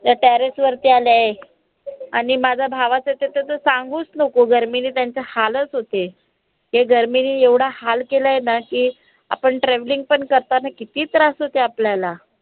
या terrace वरती आलय आणि माझ्या भावाचं तर सांगूच नको गर्मीनी त्यांचा हालच होते. ते गर्मीनी एवढं हाल केलंय ना की, आपण traveling पण करताना किती त्रास होते आपल्याला